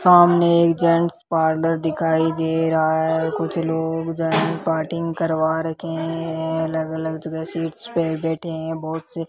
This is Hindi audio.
सामने एक जेंट्स पार्लर दिखाई दे रहा है कुछ लोग जो है कटिंग करवा रखे हैं अलग अलग जगह सीट्स पे बैठे हैं बहोत से --